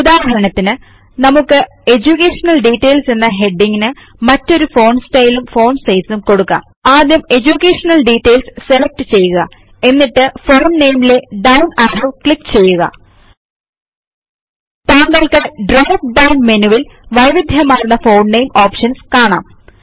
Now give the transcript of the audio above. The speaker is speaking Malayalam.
ഉദാഹരണത്തിന് നമുക്ക് എഡ്യൂകേഷൻ ഡിറ്റെയിൽസ് എന്ന ഹെഡിംഗ്ന് മറ്റൊരു ഫോണ്ട് സ്റ്റയിലും ഫോണ്ട് സൈസും കൊടുക്കാം ആദ്യം എഡ്യൂകേഷൻ detailsസെലക്ട് ചെയ്യുക എന്നിട്ട് ഫോണ്ട് നാമെ ലെ ഡൌൺ ആരോ ക്ലിക്ക് ചെയ്യുക താങ്കൾക്ക് ഡ്രോപ്പ് ഡൌൺ മെനുവിൽ വൈവിധ്യമാർന്ന ഫോണ്ട് നെയിം ഓപ്ഷൻസ് കാണാം